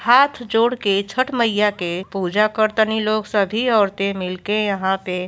हाथ जोड़के छठ मईया के पूजा करतानी लोग। सभी औरतें मिलके यहां पे --